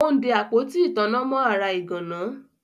Ó ń de Àpótí ìtanná mọ́ ara ìgànnà